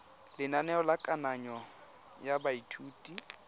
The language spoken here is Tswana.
lenaneo la kananyo ya baithuti